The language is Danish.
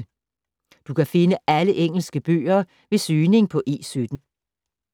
Du kan finde alle engelske bøger ved søgning på E17.